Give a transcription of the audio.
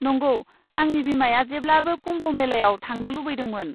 नंगौ, आंनि बिमाया जेब्लाबो कुम्भ मेलायाव थांनो लुबैदोंमोन।